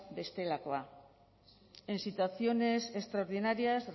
bestelakoa en situaciones extraordinarias